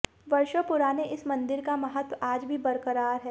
वर्षों पुराने इस मंदिर का महत्व आज भी बरकरार है